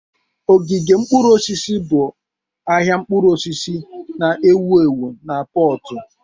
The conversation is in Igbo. Ogige mkpụrụ osisi bụ ahịa mkpụrụ osisi na-ewu ewu na Pọtu.